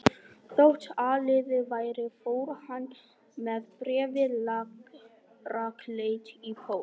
Þótt áliðið væri fór hann með bréfið rakleitt í póst.